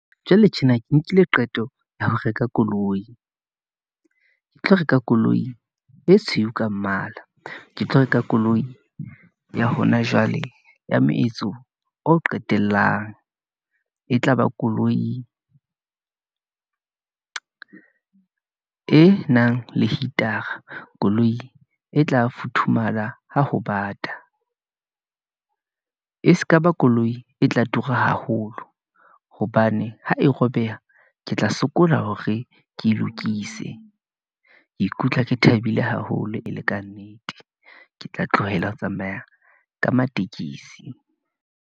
Jwale tjena ke nkile qeto ya ho reka koloi , ke tlo reka koloi e tshweu ka mmala, ke tlo reka koloi ya hona jwale ya moetso o qetellang, e tlaba koloi e nang le heater-a, koloi e tla futhumala ha ho bata , e skaba koloi e tla tura haholo, hobane ha e robeha ke tla sokola hore ke lokise. Ke ikutlwa ke thabile haholo e le kannete, ke tla tlohela ho tsamaya ka matekesi.